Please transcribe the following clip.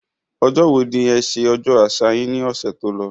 Ọjọ́ wo ni e sẹ ọjọ́ àṣà yín ní ọ̀sẹ̀ tó lọ